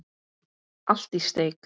Allt í steik.